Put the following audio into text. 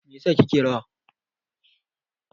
me yasa kike rawa?